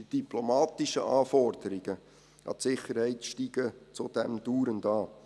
Die diplomatischen Anforderungen an die Sicherheit steigen zudem dauernd.